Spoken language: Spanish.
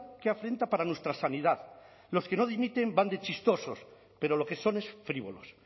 qué afrenta para nuestra sanidad los que no dimiten van de chistosos pero lo que son es frívolos